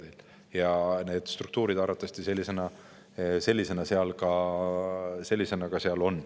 Ja arvatavasti on need struktuurid seal sellised.